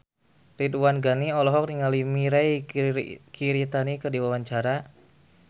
Ridwan Ghani olohok ningali Mirei Kiritani keur diwawancara